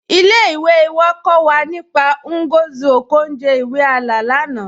Ilé-ìwé wà kọ́ wà nípá Ngozi Okonjo-Iweala lánà